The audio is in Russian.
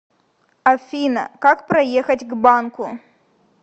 афина как проехать к банку